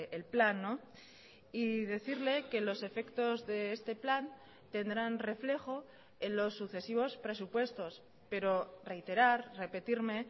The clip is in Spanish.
el plan y decirle que los efectos de este plan tendrán reflejo en los sucesivos presupuestos pero reiterar repetirme